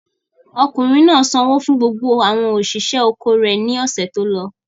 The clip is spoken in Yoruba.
Ọkùnrin náà sanwó fún gbogbo àwọn òṣìṣẹ́ oko rẹ̀ lọ́sẹ̀ tó lọ?